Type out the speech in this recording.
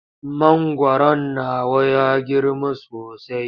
Mangwaron nawa ya girma sosai.